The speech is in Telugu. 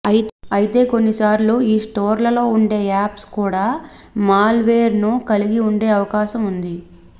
అయితే కొన్ని సార్లు ఈ స్టోర్లలో ఉండే యాప్స్ కూడా మాల్ వేర్ ను కలిగి ఉండే అవకాశం ఉంది